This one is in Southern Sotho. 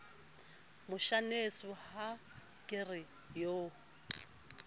moshaneso ha ke re o